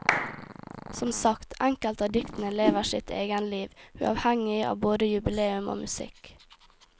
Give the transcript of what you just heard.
Som sagt, enkelte av diktene lever sitt egenliv, uavhengig av både jubileum og musikk.